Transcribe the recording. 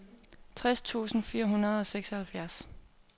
tres tusind fire hundrede og seksoghalvfjerds